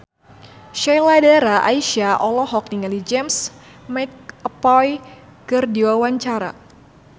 Sheila Dara Aisha olohok ningali James McAvoy keur diwawancara